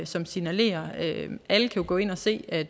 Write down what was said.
som signalerer det alle kan gå ind og se at